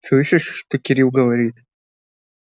слышишь что кирилл говорит